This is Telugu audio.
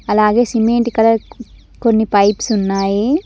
అలాగే సిమెంట్ కలర్ కొన్ని పైప్స్ ఉన్నాయి.